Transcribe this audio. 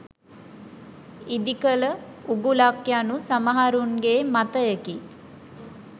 ඉදිකළ උගුලක් යනු සමහරුන්ගේ මතයකි.